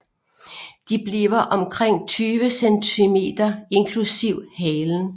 De bliver omkring 20 cm inklusiv halen